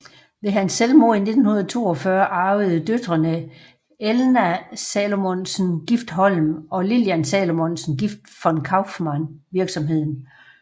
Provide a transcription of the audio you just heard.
Ved hans selvmord i 1942 arvede døtrene Elna Salomonsen gift Holm og Lillian Salomonsen gift von Kauffmann virksomheden